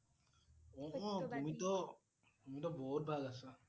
অ' তুমিটো, তুমিটো বহুত ভাল আছা